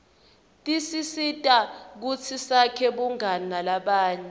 tisisita kutsi sakhe bungani nalabanye